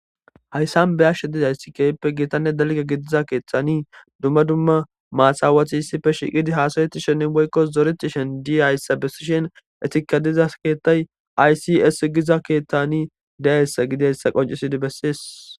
Hayssan be ashshe diza ayssikayppe giitanne dalke gidiza keeththani dumma dumma maasawati hissife shiqidi haasaweti shennin woykkos zoreti shen di ayssa bessishen etikadiza keettay aysies giza keeththani daessa gideyssa qoncisidi bessees.